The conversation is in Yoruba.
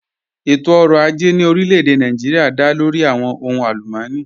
Ẹ̀tọ̀-ọ̀rọ̀ àjẹ̀ ní orílẹ̀-èdè Nàìjíríà dá lórí awọn ọ̀hùn alùmọ́nì